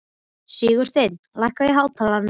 Sigursteina, lækkaðu í hátalaranum.